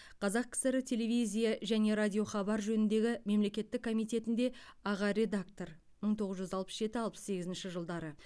қазақ кср телевизия және радиохабар жөніндегі мемлекеттік комитетінде аға редактор мың тоғыз жүз алпыс жеті алпыс сегізінші жылдары